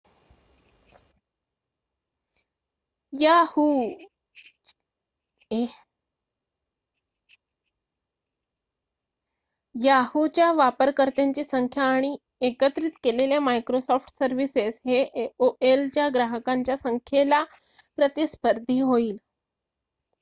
Yahoo च्या वापरकर्त्यांची संख्या आणि एकत्रित केलेल्या मायक्रोसॉफ्ट सर्विसेस हे एओएल च्या ग्राहकांच्या संख्येला प्रतिस्पर्धी होईल